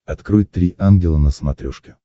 открой три ангела на смотрешке